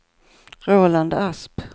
Roland Asp